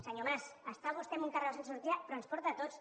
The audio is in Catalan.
senyor mas està vostè en un carreró sense sortida però ens porta a tots